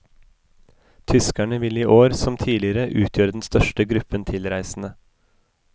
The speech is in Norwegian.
Tyskerne vil i år som tidligere utgjøre den største gruppen tilreisende.